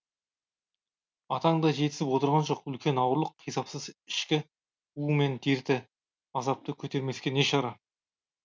атаң да жетісіп отырған жоқ үлкен ауырлық қисапсыз ішкі у мен дерті азапты көтермеске не шара